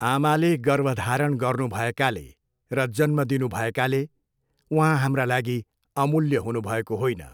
आमाले गर्भधारण गर्नु भएकाले र जन्म दिनु भएकाले उहाँ हाम्रा लागि अमूल्य हुनुभएको होइन।